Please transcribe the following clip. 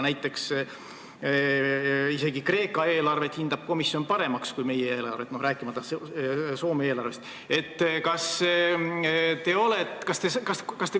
Näiteks isegi Kreeka eelarvet peab komisjon paremaks kui meie oma, rääkimata Soome eelarvest.